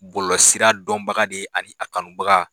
Bɔlɔlɔ sira dɔnbaga de ye ani a kanubaga.